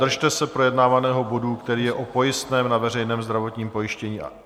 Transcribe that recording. Držte se projednávaného bodu, který je o pojistném na veřejné zdravotní pojištění.